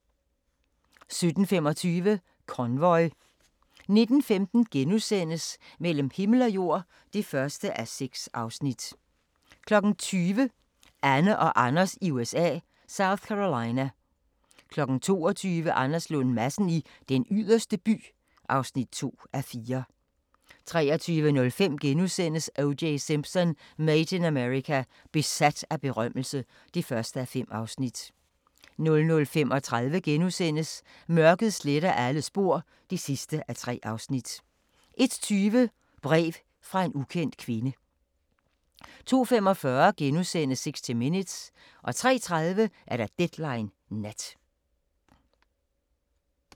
17:25: Convoy 19:15: Mellem himmel og jord (1:6)* 20:00: Anne og Anders i USA – South Carolina 22:00: Anders Lund Madsen i Den Yderste By (2:4) 23:05: O.J. Simpson: Made in America – besat af berømmelse (1:5)* 00:35: Mørket sletter alle spor (3:3)* 01:20: Brev fra en ukendt kvinde 02:45: 60 Minutes * 03:30: Deadline Nat